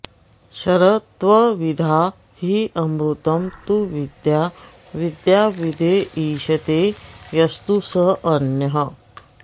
क्षरं त्वविद्या ह्यमृतं तु विद्या विद्याविद्ये ईशते यस्तु सोऽन्यः